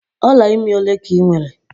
Ọla imi ole ka ị nwere?